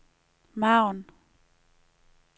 margen